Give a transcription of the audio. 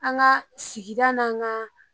An ga sigida n'an ga